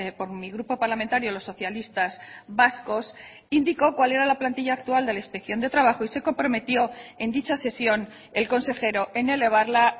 por mi grupo parlamentario los socialistas vascos indicó cual era la plantilla actual de la inspección de trabajo y se comprometió en dicha sesión el consejero en elevarla